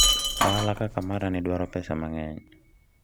ohala kaka marani dwaro pesa mang'eny